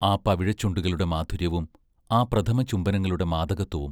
ആ പവിഴച്ചുണ്ടുകളുടെ മാധുര്യവും, ആ പ്രഥമചുംബനങ്ങളുടെ മാദകത്വവും!